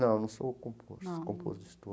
Não, não sou compor, compositor